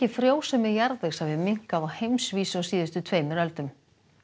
frjósemi jarðvegs hafi minnkað á heimsvísu á síðustu tveimur öldum